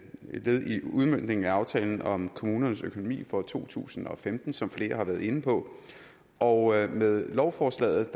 led i udmøntningen af aftalen om kommunernes økonomi for to tusind og femten som flere har været inde på og med lovforslaget